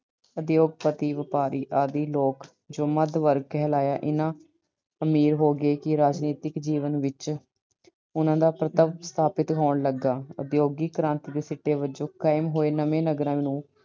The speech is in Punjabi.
ਉਦਯੋਗਪਤੀ, ਵਪਾਰੀ ਆਦਿ ਲੋਕ ਜੋ ਮੱਧ ਵਰਗ ਕਹਿਲਾਇਆ, ਇੰਨਾ ਅਮੀਰ ਹੋ ਗਏ ਕਿ ਰਾਜਨੀਤਿਕ ਜੀਵਨ ਵਿੱਚ ਉਹਨਾਂ ਦਾ ਪ੍ਰਤੱਖ ਸਥਾਪਤ ਹੋਣ ਲੱਗਾ। ਉਦਯੋਗਿਕ ਕ੍ਰਾਂਤੀ ਦੇ ਸਿੱਟੇ ਵਜੋਂ ਕਾਇਮ ਹੋਏ ਨਵੇਂ ਨਗਰਾਂ ਨੂੰ